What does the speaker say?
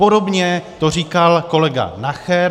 Podobně to říkal kolega Nacher.